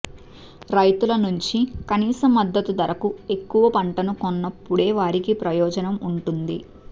రైతుల నుంచి కనీస మద్దతు ధరకు ఎక్కువ పంటను కొన్నప్పుడే వారికి ప్రయోజనం ఉంటుంది